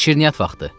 Şirniyyat vaxtı.